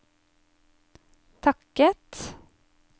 takket